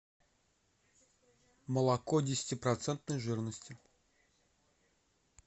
молоко десяти процентной жирности